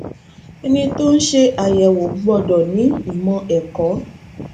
ẹni tó ń ṣe àyẹwò gbọdọ ni ìmò ẹkọ